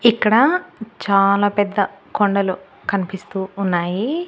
ఇక్కడ చాలా పెద్ద కొండలు కనిపిస్తూ ఉన్నాయి.